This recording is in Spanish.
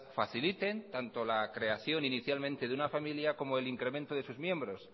faciliten tanto la creación inicialmente de una familia como el incremento de sus miembros